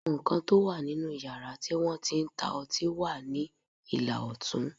Àwọn nǹkan tó wà nínú yàrá tí wọ́n ti ń ta ọtí wà ní ìlà ọ̀tún